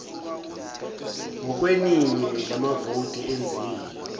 ngokweningi lamavoti enziwe